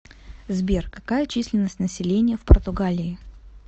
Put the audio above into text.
сбер какая численность населения в португалии